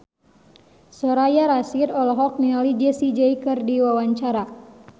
Soraya Rasyid olohok ningali Jessie J keur diwawancara